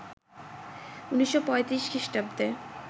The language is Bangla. ১৯৩৫ খ্রিস্টাব্দে